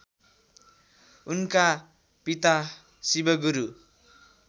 उनका पिता शिवगुरु